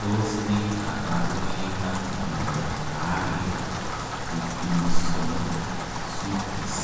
Tos ne kabarunoik ap miondop peare stipinson sutis